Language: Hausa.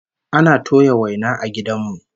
Ana toya waina a gidan mu